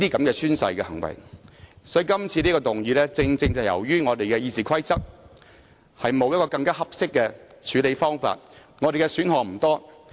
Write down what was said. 因此，今次提出這項議案，正是因為我們的《議事規則》沒有更合適的處理方法，我們的選擇不多。